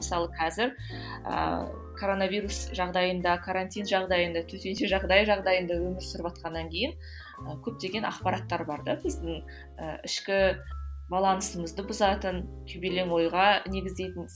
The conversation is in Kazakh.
мысалы қазір ыыы коронавирус жағдайында карантин жағдайында төтенше жағдай жағдайында өмір сүріватқаннан кейін көптеген ақпараттар бар да біздің і ішкі балансымызды бұзатын ойға негіздейтін